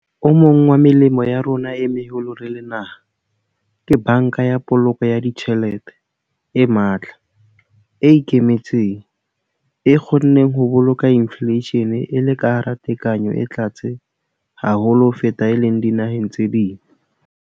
O mong wa melemo ya rona e meholo re le naha ke Banka ya Poloko ya Ditjhelete e matla, e ikemetseng, e kgonneng ho boloka infleishene e le ka hara tekanyo e tlase haholo ho feta e leng dinaheng tse ding.